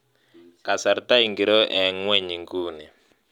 Kasarta ingiro eng kwen inguni